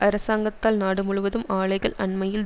அரசாங்கத்தால் நாடு முழுவதும் ஆலைகள் அண்மையில்